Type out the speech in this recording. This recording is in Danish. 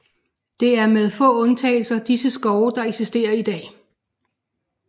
Det er med få undtagelser disse skove der eksisterer i dag